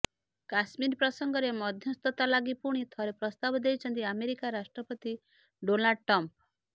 କାଶ୍ମୀର ପ୍ରସଙ୍ଗରେ ମଧ୍ୟସ୍ଥତା ଲାଗି ପୁଣି ଥରେ ପ୍ରସ୍ତାବ ଦେଇଛନ୍ତି ଆମେରିକା ରାଷ୍ଟ୍ରପତି ଡୋନାଲ୍ଡ ଟ୍ରମ୍ପ୍